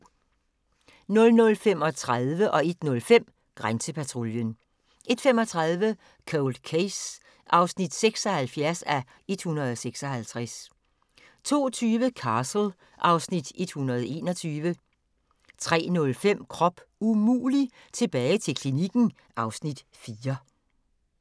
00:35: Grænsepatruljen 01:05: Grænsepatruljen 01:35: Cold Case (76:156) 02:20: Castle (Afs. 121) 03:05: Krop umulig – tilbage til klinikken (Afs. 4)